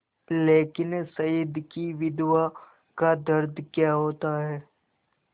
लेकिन शहीद की विधवा का दर्द क्या होता है